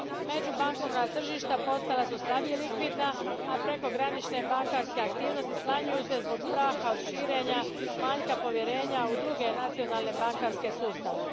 Međubankovna tržišta postala su slabije likvidna, a prekogranične bankarske aktivnosti smanjuju se zbog straha od širenja i manjka povjerenja u druge nacionalne bankarske sustave.